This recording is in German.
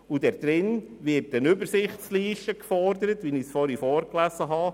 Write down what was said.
In diesem Text wird eine Übersichtsliste gefordert, wie ich es vorgelesen habe.